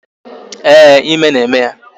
Ee, ime na-eme ya